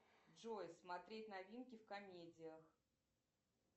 джой смотреть новинки в комедиях